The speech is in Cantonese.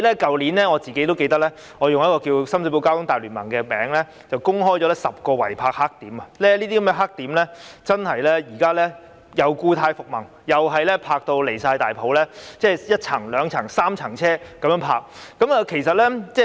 我記得我去年以"關注深水埗交通大聯盟"的名義公布了10個違泊黑點，這些黑點現在故態復萌，又再出現胡亂泊車的情況，雙行甚至三行泊車。